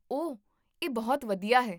ਓਹ, ਇਹ ਬਹੁਤ ਵਧੀਆ ਹੈ